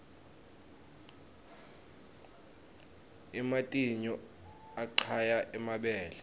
ematinyou aqaya emabele